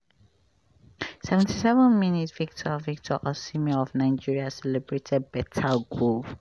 seventy seven minute victor victor osimhen of nigeria celebrates beta goal.